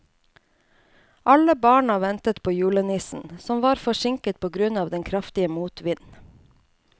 Alle barna ventet på julenissen, som var forsinket på grunn av den kraftige motvinden.